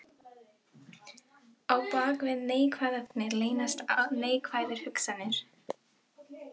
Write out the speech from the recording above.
Á bak við neikvæðar þagnir leynast neikvæðar hugsanir.